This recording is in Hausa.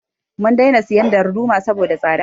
Mun daina siyan darduma saboda tsada